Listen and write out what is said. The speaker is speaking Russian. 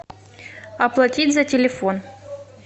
оплатить за телефон